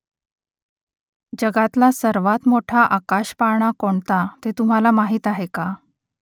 जगातला सर्वांत मोठा आकाशपाळणा कोणता ते तुम्हाला माहीत आहे का ?